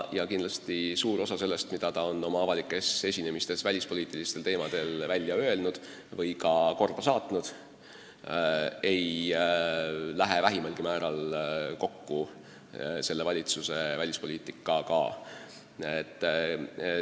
Kindlasti suur osa sellest, mida ta on oma avalikes esinemistes välispoliitilistel teemadel välja öelnud või ka korda saatnud, ei lähe vähimalgi määral kokku selle valitsuse välispoliitikaga.